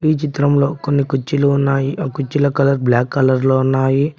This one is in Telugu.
ఈ చిత్రంలో కొన్ని కుర్చీలు ఉన్నాయి ఆ కుర్చీల కలర్ బ్లాక్ కలర్ లో ఉన్నాయి.